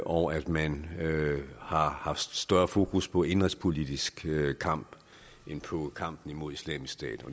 og at man har haft større fokus på den indenrigspolitiske kamp end på kampen mod islamisk stat